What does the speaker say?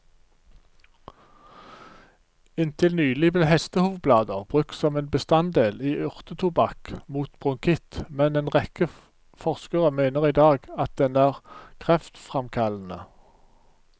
Inntil nylig ble hestehovblader brukt som en bestanddel i urtetobakk mot bronkitt, men en rekke forskere mener i dag at den er kreftfremkallende.